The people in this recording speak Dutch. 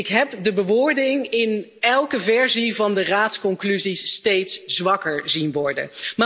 Ik heb de bewoording in elke versie van de Raadsconclusies steeds zwakker zien worden.